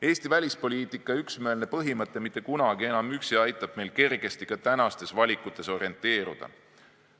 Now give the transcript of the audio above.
Eesti välispoliitika üksmeelne põhimõte – mitte kunagi enam üksi – aitab kergesti ka tänastes valikutes orienteeruda.